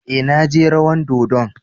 Eh, na je rawan dodon.